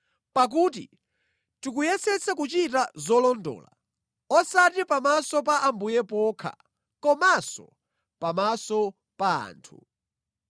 Pakuti tikuyesetsa kuchita zolondola, osati pamaso pa Ambuye pokha komanso pamaso pa anthu.